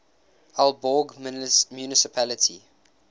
aalborg municipality